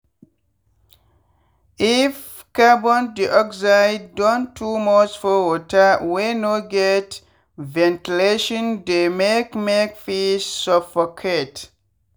if carbondioxide don too much for water wey no get ventilation dey make make fish suffocate.